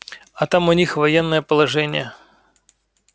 а там у них военное положение